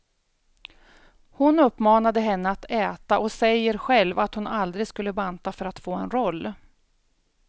Hon uppmanade henne att äta, och säger själv att hon aldrig skulle banta för att få en roll.